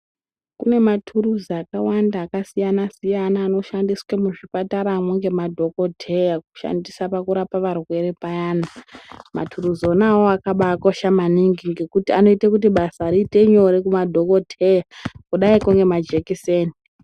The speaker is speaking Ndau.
Kune mathuruzi akawanda akasiyana siyana anoshandiswa muzvipataramwo ngemadhokoteya kushandisa pakurapa varwere payana. Mathuruzi wona awawo akabaakosha maningi ngekuti anoite kuti basa riite nyore kumadhokoteya kudaikwo ngemajekiseni.